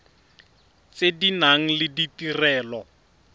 tse di nang le ditirelo